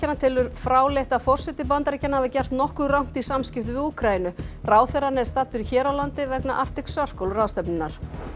telur fráleitt að forseti Bandaríkjanna hafi gert nokkuð rangt í samskiptum við Úkraínu ráðherrann er staddur hér á landi vegna Arctic Circle ráðstefnunnar